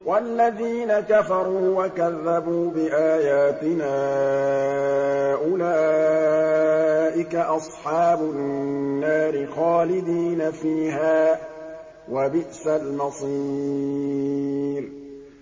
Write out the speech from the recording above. وَالَّذِينَ كَفَرُوا وَكَذَّبُوا بِآيَاتِنَا أُولَٰئِكَ أَصْحَابُ النَّارِ خَالِدِينَ فِيهَا ۖ وَبِئْسَ الْمَصِيرُ